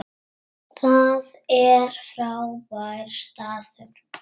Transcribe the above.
Það er frábær staður.